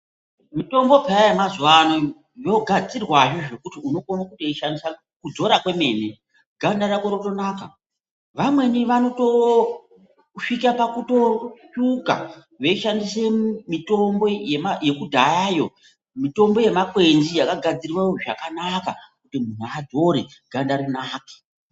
Mitombo peya yemazuwano yogadzirwa zvekuti unokona kutoishandisa kudzora kwemene ganda rotonaka vamweni vanotosvika pakutotsvuka veishandise mitombo iyi yekudhayayo mitombo yemakwenzi yakagadzirwe zvakanaka kuti muntu adzore ganda rinake.